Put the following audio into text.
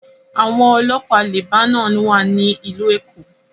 Àwọn ọlọ́pàá Lebanon wà ní Ìlú Èkó